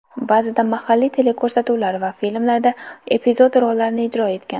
Ba’zida mahalliy teleko‘rsatuvlar va filmlarda epizod rollarni ijro etgan.